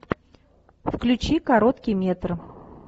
включи короткий метр